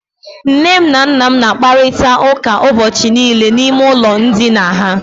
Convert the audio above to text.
Nne m na nna m na-akparịta ụka ụbọchị niile n'ime ụlọ ndina ha.